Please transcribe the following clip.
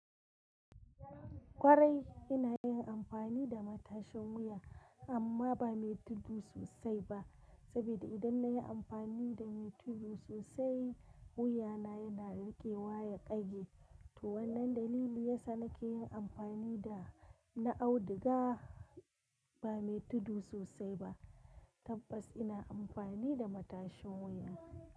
Kwarai ina yin amfani da matashin wuya amma ba mai tudu sosai ba, saboda idan na yi amfani da mai tudu sosai wuyana yana rikewa ya ƙage. To wannan dalili yasa nake yin amfani da na auduga ba mai tudu sosai ba tabbas ina amfani da matashin wuya.